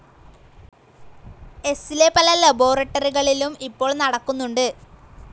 എസ്സിലെ പല ലബോറട്ടറികളിലും ഇപ്പോൾ നടക്കുന്നുണ്ട്.